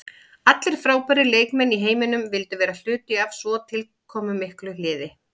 Allir frábærir leikmenn í heiminum vildu vera hluti af svona tilkomumiklu liði.